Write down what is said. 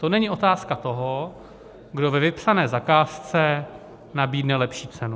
To není otázka toho, kdo ve vypsané zakázce nabídne lepší cenu.